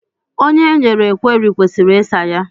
Onye e nyere kweri kwesịrị ịsa ya.